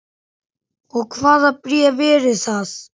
Og hvaða bréf eru það?